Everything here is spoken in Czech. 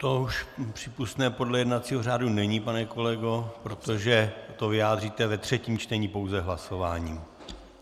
To už přípustné podle jednacího řádu není, pane kolego, protože to vyjádříte ve třetím čtení pouze hlasováním.